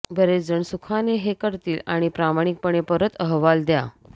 बरेच जण सुखाने हे करतील आणि प्रामाणिकपणे परत अहवाल द्या